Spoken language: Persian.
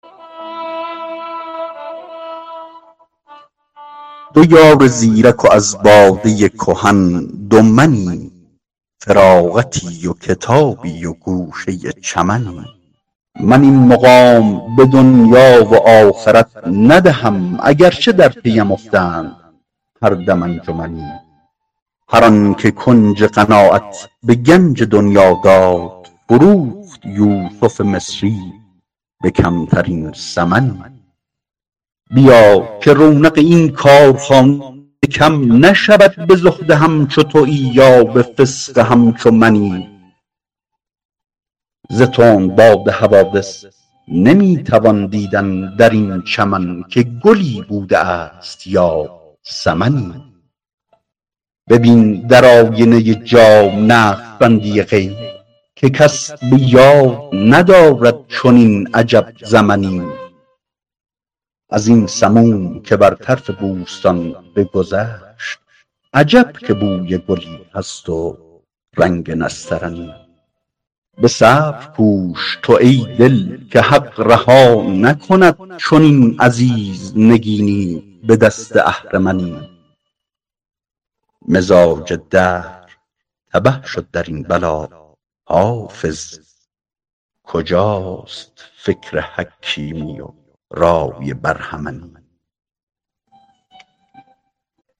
دو یار زیرک و از باده کهن دو منی فراغتی و کتابی و گوشه چمنی من این مقام به دنیا و آخرت ندهم اگر چه در پی ام افتند هر دم انجمنی هر آن که کنج قناعت به گنج دنیا داد فروخت یوسف مصری به کمترین ثمنی بیا که رونق این کارخانه کم نشود به زهد همچو تویی یا به فسق همچو منی ز تندباد حوادث نمی توان دیدن در این چمن که گلی بوده است یا سمنی ببین در آینه جام نقش بندی غیب که کس به یاد ندارد چنین عجب زمنی از این سموم که بر طرف بوستان بگذشت عجب که بوی گلی هست و رنگ نسترنی به صبر کوش تو ای دل که حق رها نکند چنین عزیز نگینی به دست اهرمنی مزاج دهر تبه شد در این بلا حافظ کجاست فکر حکیمی و رای برهمنی